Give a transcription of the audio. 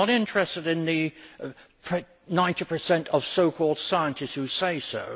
I am not interested in the 90 of so called scientists who say so.